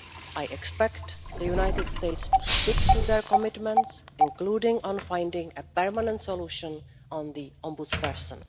I expect the United States to stick to its commitments, including on finding a permanent solution on the Ombudsperson.